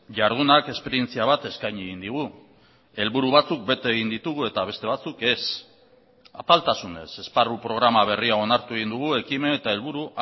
jardunak esperientzia bat eskaini egin digu helburu batzuk bete egin ditugu eta beste batzuk ez apaltasunez esparru programa berria onartu egin dugu ekimen eta helburu